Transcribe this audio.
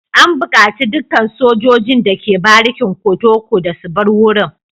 An bukaci dukkan sojojin da ke barikin kotoco da su bar wurin.